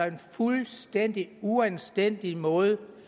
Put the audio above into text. en fuldstændig uanstændig måde